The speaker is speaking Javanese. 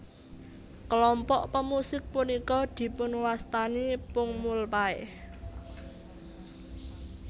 Kelompok pemusik punika dipunwastani pungmulpae